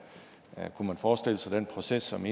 kunne man forestille sig den proces som